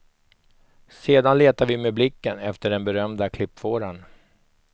Sedan letar vi med blicken efter den berömda klippfåran.